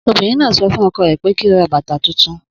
Obìnrin náà sọ fún ọkọ rẹ̀ pé kí ó ra bàtà tuntun